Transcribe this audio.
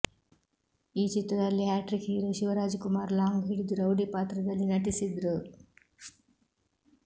ಈ ಚಿತ್ರದಲ್ಲಿ hat trick hero Shivaraj Kumar long ಹಿಡಿದು ರೌಡಿ ಪಾತ್ರದಲ್ಲಿ ನಟಿಸಿದ್ರು